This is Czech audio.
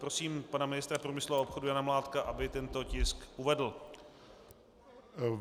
Prosím pana ministra průmyslu a obchodu Jana Mládka, aby tento tisk uvedl.